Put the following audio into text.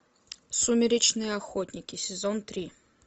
сумеречные охотники сезон три